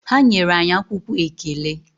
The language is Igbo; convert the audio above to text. Ha nyere anyị akwụkwọ ekele.